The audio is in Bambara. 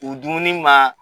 dumuni ma